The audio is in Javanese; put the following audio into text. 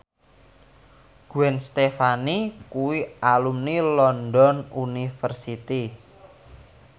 Gwen Stefani kuwi alumni London University